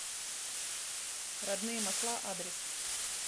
родные масла адрес